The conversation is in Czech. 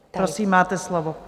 Prosím, máte slovo.